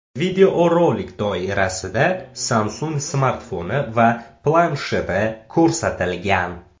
Videorolik doirasida Samsung smartfoni va plansheti ko‘rsatilgan.